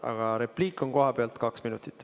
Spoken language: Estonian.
Aga repliik kohapealt kaks minutit.